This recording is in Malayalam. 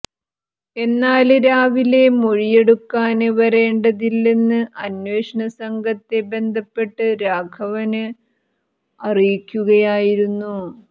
എന്നാല് രാവിലെ മൊഴിയെടുക്കാന് വരേണ്ടതില്ലെന്ന് അന്വേഷണ സംഘത്തെ ബന്ധപ്പെട്ട് രാഘവന് അറിയിക്കുകയായിരുന്നു